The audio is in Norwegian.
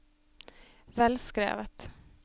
velskrevet